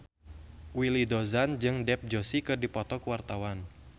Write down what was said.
Willy Dozan jeung Dev Joshi keur dipoto ku wartawan